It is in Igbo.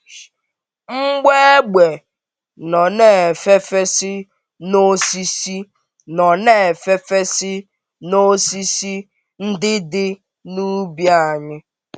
Mgbọ égbè nọ na-efefesị n’osisi nọ na-efefesị n’osisi ndị dị n’úbì anyị.